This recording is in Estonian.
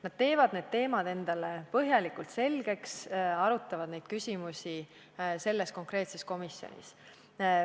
Nad teevad vastavad teemad endale põhjalikult selgeks ja arutavad nendega seotud küsimusi selles konkreetses komisjonis.